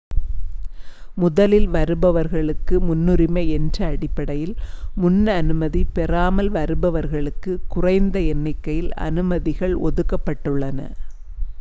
முதலில் வருபவர்க்கு முன்னுரிமை என்ற அடிப்படையில் முன் அனுமதி பெறாமல் வருபவர்களுக்கு குறைந்த எண்ணிக்கையில் அனுமதிகள் ஒதுக்கப்பட்டுள்ளன